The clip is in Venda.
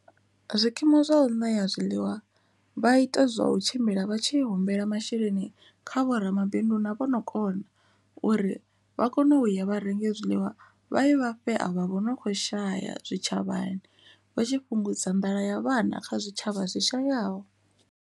Zwikimu zwau ṋea zwiḽiwa vha ita zwa u tshimbila vha tshi humbela masheleni kha vho ramabindu na vho no kona uri vha kone u ya vha renge zwiḽiwa vha ye vha fhe a vha vho no kho shaya zwitshavhani vha tshi fhungudza nḓala ya vhana kha zwitshavha zwi shayaho.